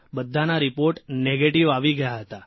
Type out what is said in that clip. બધાના report negative આવી ગયા હતા